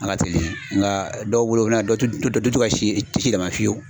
A ka teli nka dɔw bolo u tu tu tu tɛ ka si si dama fiyewu.